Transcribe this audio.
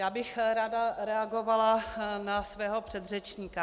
Já bych ráda reagovala na svého předřečníka.